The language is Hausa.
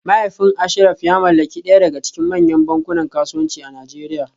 Mahaifin Ashraf ya mallaki daya daga cikin manyan bankunan kasuwanci a Najeriya